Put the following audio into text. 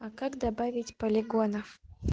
а как добавить полигонов